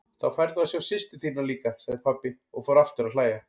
Þá færðu að sjá systur þína líka, sagði pabbi og fór aftur að hlæja.